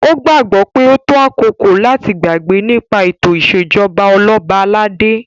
O gbagbọ pe o to akoko lati gbagbe nipa eto isejọba Oloba alade